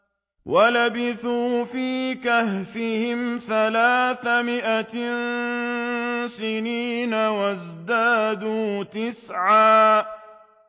وَلَبِثُوا فِي كَهْفِهِمْ ثَلَاثَ مِائَةٍ سِنِينَ وَازْدَادُوا تِسْعًا